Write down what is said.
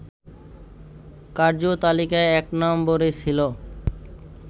কার্যতালিকায় ১ নম্বরে ছিল